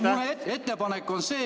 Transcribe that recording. Mu ettepanek on see ...